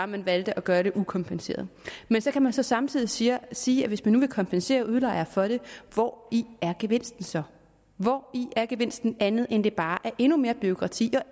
man valgte at gøre det ukompenseret men så kan man så samtidig sige sige at hvis man nu vil kompensere udlejer for det hvori er gevinsten så hvori er gevinsten andet end at det bare er endnu mere bureaukrati